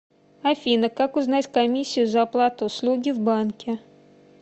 афина как узнать комиссию за оплату услуги в банке